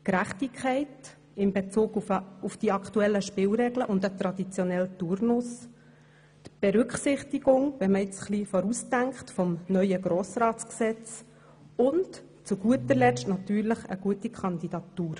Gerechtigkeit in Bezug auf die aktuellen Spielregeln und den aktuellen Turnus, die Berücksichtigung des neuen Grossratsgesetzes, wenn man hier ein wenig vorausdenkt, und zu guter Letzt natürlich eine gute Kandidatur.